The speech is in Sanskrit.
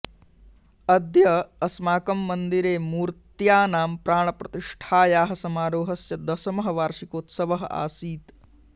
अद्य अस्माकं मन्दिरे मूर्त्यानां प्राणप्रतिष्ठायाः समारोहस्य दशमः वर्षिकोत्सवः आसीत्